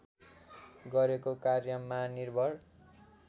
गरेको कार्यमा निर्भर